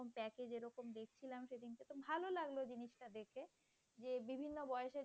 লাগলো জিনিসটা দেখে যে বিভিন্ন বয়সের